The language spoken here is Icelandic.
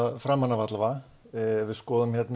við skoðum yfirlitið sem ég gerði